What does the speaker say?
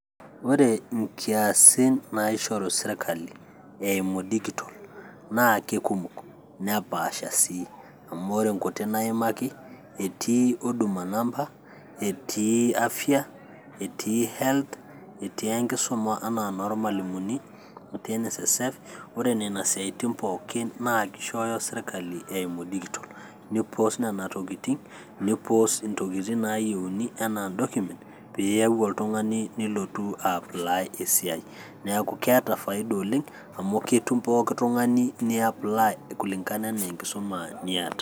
ore inkiasin naishoru sirkali eimu digital naa kekumok nepaasha sii amu ore nkuti naimaki etii huduma namba, etii afya, etii health etii enkisuma anaa enormalimuni, etii NSSF ore nena siatin pookin na kishooyo sirkali eimu digital nipos nena tokitin nipos intokitin naayieuni enaa in document piiyau oltung'ani nilotu ae apply esiai, neeku keeta faida oleng amu ketum pooki tung'ani ni apply kulingana enaa enkisuma niata.